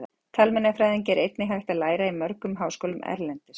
Talmeinafræði er einnig hægt að læra í mörgum háskólum erlendis.